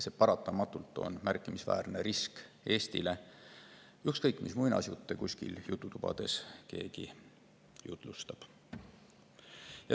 See on paratamatult märkimisväärne risk Eestile, ükskõik mis muinasjutte keegi kuskil jututubades jutustab.